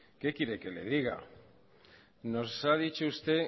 qué quiere que le diga nos ha dicho usted